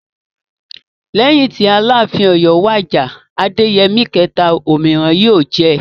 Lẹ́yìn tí Aláàfin Ọ̀yọ́ wàjà (Adéyẹmí kẹ̀ta). Òmíràn yóò jẹ.